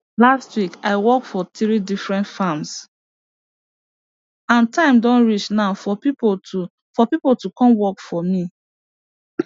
last week i work for three different farms and time don reach now for people to for people to come work for me